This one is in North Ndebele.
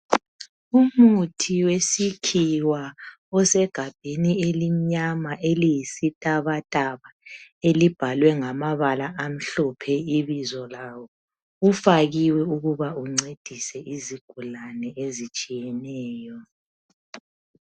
Umuthi wesikhiwa osegabheni elimnyama eliyisitabataba elibhalwe ngamabala amhlophe ibizo lawo. Ufakiwe ukuba uncedise izigulane ezitshiyeneyo.